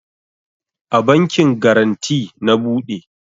A bankin garanty na bude